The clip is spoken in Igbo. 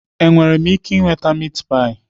Enwere m ike ịnweta meatpie?